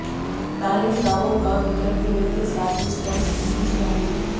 डारेन Bravo का wicket गिरने के साथ ही स्टम्प्स की घोषणा हुई